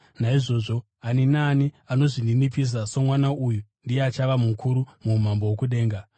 Naizvozvo ani naani anozvininipisa somwana uyu ndiye achava mukuru muumambo hwokudenga.